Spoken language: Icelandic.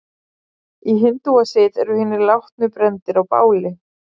Í hindúasið eru hinir látnu brenndir á báli.